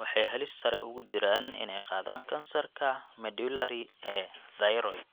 waxay halis sare ugu jiraan inay qaadaan kansarka medullary ee thyroid.